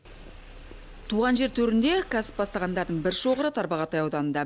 туған жер төрінде кәсіп бастағандардың бір шоғыры тарбағатай ауданында